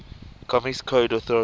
comics code authority